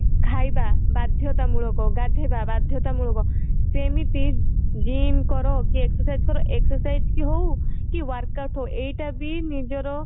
ଖାଇବା ବାଧ୍ୟତାମୂଳକ ଗାଧେଇବା ବାଧ୍ୟତାମୂଳକ ସେମିତି gym କର କି excercise କର excercise ହଉ କି work out ହଉ ଏଇଟା ବି ନିଜର